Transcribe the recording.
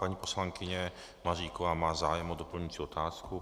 Paní poslankyně Maříková má zájem o doplňující otázku.